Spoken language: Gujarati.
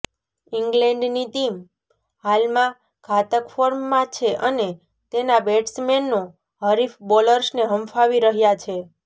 ઈંગ્લેન્ડની ટીમ હાલમાં ઘાતક ફોર્મમાં છે અને તેના બેટ્સમેનો હરીફ બોલર્સને હંફાવી રહ્યા છે